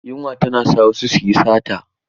Yunwa tana sa wasu su yi sata.